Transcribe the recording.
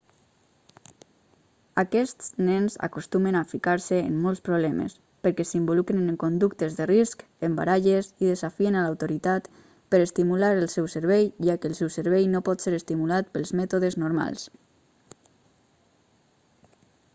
aquests nens acostumen a ficar-se en molts problemes perquè s'involucren en conductes de risc en baralles i desafien a l'autoritat per estimular el seu cervell ja que el seu cervell no pot ser estimulat pels mètodes normals